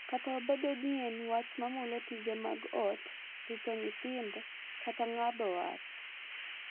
Kata obedo ni en wach mamulo tije mag ot, rito nyithindo, kata ng’ado wach.